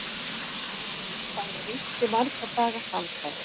Það hafði rignt í marga daga samfleytt.